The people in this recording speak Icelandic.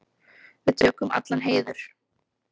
Við tökum allan heiður.